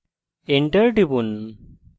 enter টিপুন